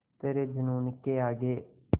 तेरे जूनून के आगे